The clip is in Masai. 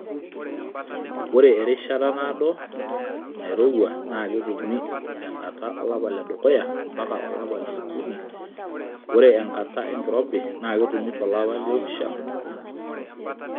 Ore erishata naado nairouwa naa ketumi tenkata olapa ledukuya mpaka olapa liokuni ore enkata enkirobi naa ketumi to lapa lioopishana.